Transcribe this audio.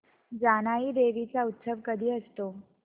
जानाई देवी चा उत्सव कधी असतो